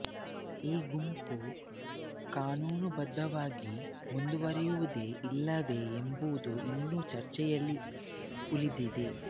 ಈ ಗುಂಪು ಕಾನೂನು ಬದ್ಧವಾಗಿ ಮುಂದುವರೆಯುವುದೇ ಇಲ್ಲವೇ ಎಂಬುದು ಇನ್ನೂ ಚರ್ಚೆಯಲ್ಲೇ ಉಳಿದಿದೆ